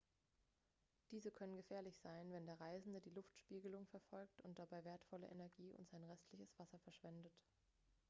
diese können gefährlich sein wenn der reisende die luftspiegelung verfolgt und dabei wertvolle energie und sein restliches wasser verschwendet